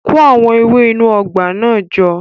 Kó àwọn ewé inú ọgbà náà jọ